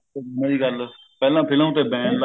ਗੱਲ ਪਹਿਲਾਂ film ਤੇ ban ਲਾ